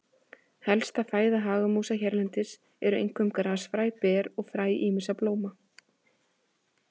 Helsta fæða hagamúsa hérlendis eru einkum grasfræ, ber og fræ ýmissa blóma.